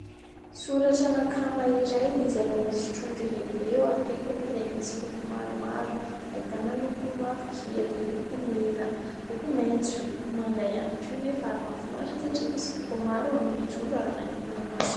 Soratra " Nakama " iray izay misy trondro lehibe eo akaikany izay misy loko maromaro. Ahitana loko mavokely, loko mena, loko maitso, loko manga ihany koa nefa. Ary mahafinaritra satria misy loko maro eo amin'ilay trondro ary manintona ny maso.